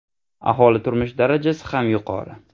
Aholi turmush darajasi ham yuqori.